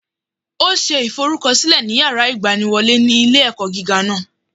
Ó ṣe ìforúkọsílẹ ní yàrá ìgbaniwọlé ilé ẹkọ gíga náà